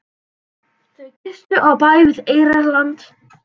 Þau gistu á bæ við Eyrarland.